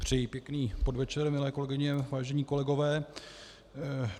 Přeji pěkný podvečer, milé kolegyně, vážení kolegové.